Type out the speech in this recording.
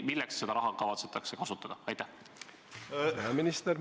Milleks seda raha kavatsetakse kasutada?